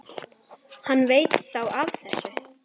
Hann veit þá af þessu?